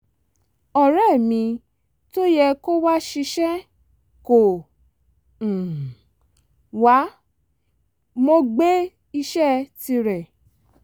ọ̀rẹ́ mi tó yẹ kó wá ṣìṣe kò um wá mo gbé iṣẹ́ tirẹ̀